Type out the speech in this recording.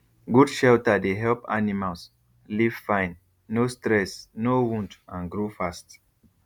good shelter dey help animals live fine no stress no wound and grow fast